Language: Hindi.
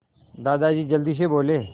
दादाजी जल्दी से बोले